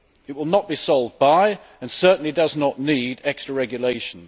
It will not be solved by and certainly does not need extra regulation.